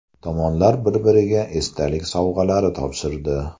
Tomonlar bir-biriga esdalik sovg‘alari topshirdi.